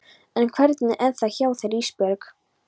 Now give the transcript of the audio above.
En hvernig er það hjá þér Ísbjörg?